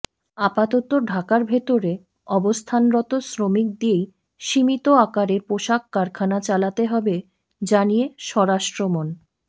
আপাতত ঢাকার ভেতরে অবস্থানরত শ্রমিক দিয়েই সীমিত আকারে পোশাক কারখানা চালাতে হবে জানিয়ে স্বরাষ্ট্রমন